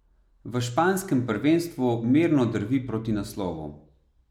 V španskem prvenstvu mirno drvi proti naslovu.